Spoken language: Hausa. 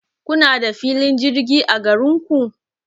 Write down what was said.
Kuna da filin jirgi a garinku?